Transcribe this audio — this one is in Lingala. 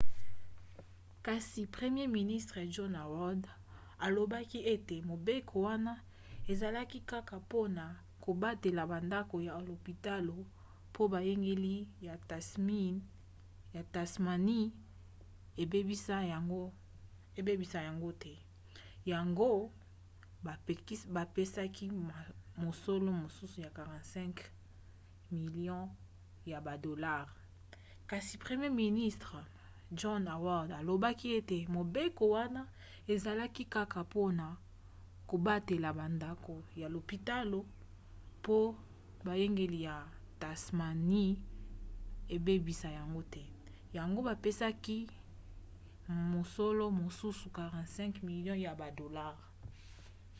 kasi premier ministre john howard alobaki ete mobeko wana ezalaki kaka mpona kobatela bandako ya lopitalo mpo boyangeli ya tasmanie ebebisa yango te yango bapesaki mosolo mosusu 45 milio ya badolare